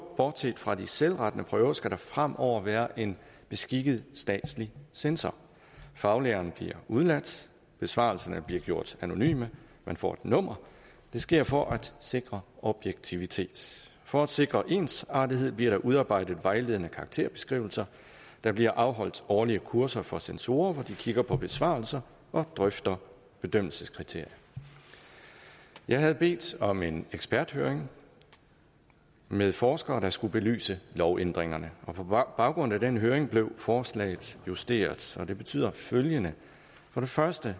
bortset fra de selvrettende prøver skal der fremover være en beskikket statslig censor faglæreren bliver udeladt besvarelserne bliver gjort anonyme man får et nummer og det sker for at sikre objektivitet for at sikre ensartethed bliver der udarbejdet vejledende karakterbeskrivelser der bliver afholdt årlige kurser for censorer hvor de kigger på besvarelser og drøfter bedømmelseskriterier jeg havde bedt om en eksperthøring med forskere der skulle belyse lovændringerne og på baggrund af den høring blev forslaget justeret og det betyder følgende for det første